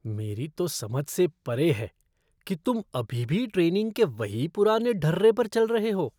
मेरी तो समझ से परे है कि तुम अभी भी ट्रेनिंग के वही पुराने ढर्रे पर चल रहे हो!